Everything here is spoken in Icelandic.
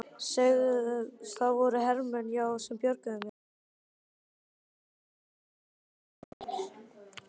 Það voru hermenn, já, sem björguðu mér.